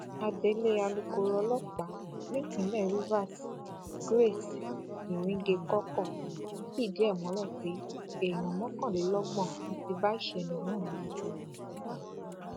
adelé alukoro ọlọpàá nípínlẹ rivers grace iringekọkọ fìdí ẹ múlẹ pé èèyàn mọkànlélọgbọn ló ti bá ìṣẹlẹ náà lọ